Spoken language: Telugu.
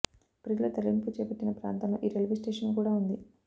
ప్రజల తరలింపు చేపట్టిన ప్రాంతంలో ఈ రైల్వే స్టేషన్ కూడా ఉంది